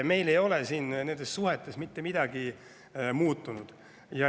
Nendes suhetes ei ole mitte midagi muutunud.